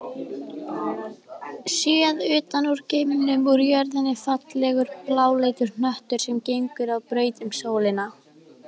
Séð utan úr geimnum er jörðin fallegur bláleitur hnöttur sem gengur á braut um sólina.